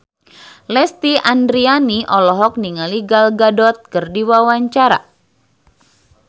Lesti Andryani olohok ningali Gal Gadot keur diwawancara